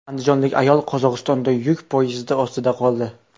Andijonlik ayol Qozog‘istonda yuk poyezdi ostida qoldi.